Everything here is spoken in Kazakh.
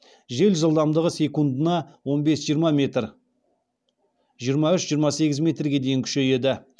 жел жылдамдығы секундына он бес жиырма жиырма үш жиырма сегіз метрге дейін күшейеді